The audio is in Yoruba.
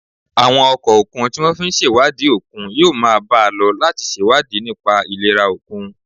Àwọn ọkọ̀ òkun tí wọ́n fi ń ṣèwádìí òkun yóò máa bá a lọ láti ṣèwádìí nípa ìlera òkun